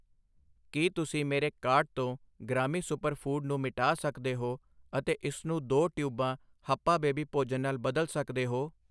ਕੀ ਤੁਸੀਂ ਮੇਰੇ ਕਾਰਟ ਤੋਂ ਗ੍ਰਾਮੀ ਸੁਪਰ ਫੂਡ ਨੂੰ ਮਿਟਾ ਸਕਦੇ ਹੋ ਅਤੇ ਇਸਨੂੰ ਦੋ ਟਿਊਬਾਂ ਹੱਪਾ ਬੇਬੀ ਭੋਜਨ ਨਾਲ ਬਦਲ ਸਕਦੇ ਹੋ